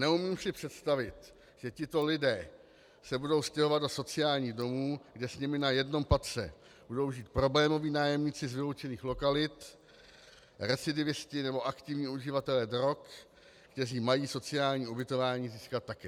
Neumím si představit, že tito lidé se budou stěhovat do sociálních domů, kde s nimi na jednom patře budou žít problémoví nájemníci z vyloučených lokalit, recidivisté nebo aktivní uživatelé drog, kteří mají sociální ubytování získat také.